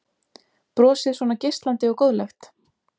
Brosið svona geislandi og góðlegt?